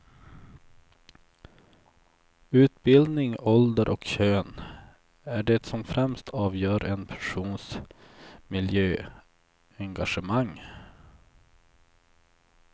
Utbildning, ålder och kön är det som främst avgör en persons miljöengagemang.